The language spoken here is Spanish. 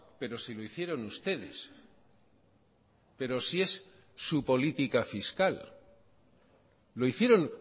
pero si lo hicieron ustedes pero si es su política fiscal lo hicieron